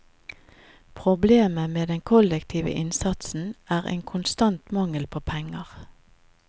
Problemet med den kollektive innsatsen er en konstant mangel på penger.